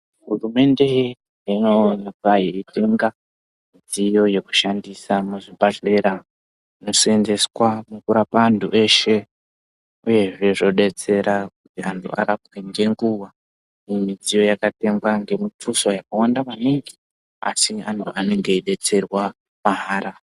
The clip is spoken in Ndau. Hurumende inoonekwa yeitenga midziyo yekushandisa muzvibhedhlera inoseenzeswa mukurapa antu eshe uyezve zvodetsera kuti antu arapwe ngenguwa, midziyo yakatengwa ngemituso yakawanda maningi asi anhu anenge eidetserwa mahara.